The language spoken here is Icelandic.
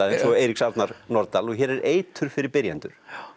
og Eiríks Arnar Norðdahl og hér er eitur fyrir byrjendur